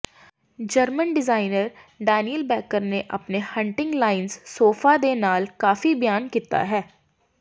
German designer Daniel Becker ਨੇ ਆਪਣੇ hunting lions sofa ਦੇ ਨਾਲ ਕਾਫੀ ਬਿਆਨ ਕੀਤਾ ਹੈ